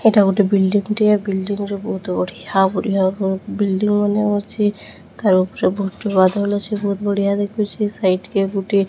ଏଟା ଗୁଟେ ବିଲ୍ଡିଙ୍ଗି ଟିଏ। ବିଲ୍ଡିଙ୍ଗି ରୁ ବହୁତ ବଢ଼ିଆ ବଢ଼ିଆ ବିଲ୍ଡିଙ୍ଗି ମାନେ ଅଛି। ତାର ଉପରେ ବହୁତ ବାଦଲ ଅଛି। ବହୁତ ବଢ଼ିଆ ଦେଖୁଚି। ସାଇଟ୍ କେଁ ଗୁଟେ --